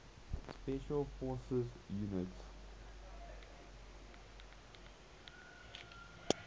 special forces units